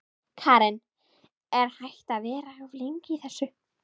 Karen: Er hægt að vera of lengi í þessu?